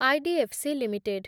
IDFC limited